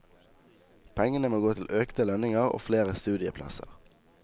Pengene må gå til økte lønninger og flere studieplasser.